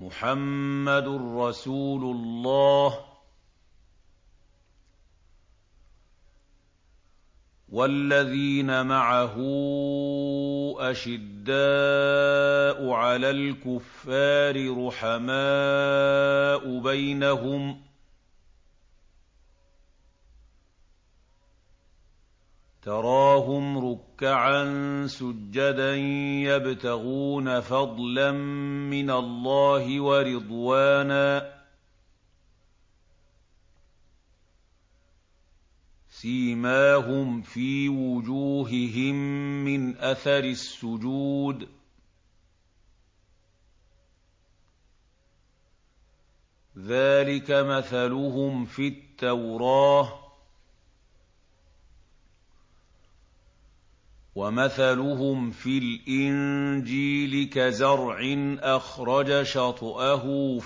مُّحَمَّدٌ رَّسُولُ اللَّهِ ۚ وَالَّذِينَ مَعَهُ أَشِدَّاءُ عَلَى الْكُفَّارِ رُحَمَاءُ بَيْنَهُمْ ۖ تَرَاهُمْ رُكَّعًا سُجَّدًا يَبْتَغُونَ فَضْلًا مِّنَ اللَّهِ وَرِضْوَانًا ۖ سِيمَاهُمْ فِي وُجُوهِهِم مِّنْ أَثَرِ السُّجُودِ ۚ ذَٰلِكَ مَثَلُهُمْ فِي التَّوْرَاةِ ۚ وَمَثَلُهُمْ فِي الْإِنجِيلِ كَزَرْعٍ أَخْرَجَ شَطْأَهُ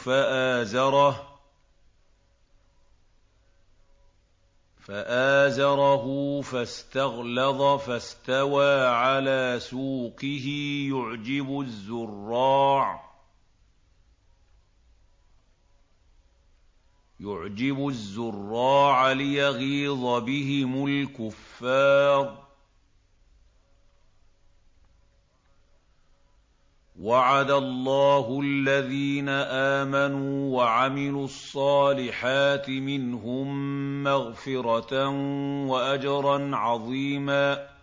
فَآزَرَهُ فَاسْتَغْلَظَ فَاسْتَوَىٰ عَلَىٰ سُوقِهِ يُعْجِبُ الزُّرَّاعَ لِيَغِيظَ بِهِمُ الْكُفَّارَ ۗ وَعَدَ اللَّهُ الَّذِينَ آمَنُوا وَعَمِلُوا الصَّالِحَاتِ مِنْهُم مَّغْفِرَةً وَأَجْرًا عَظِيمًا